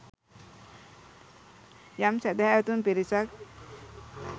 යම් සැදැහැවතුන් පිරිසක්